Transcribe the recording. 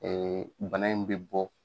bana in bɛ bɔ.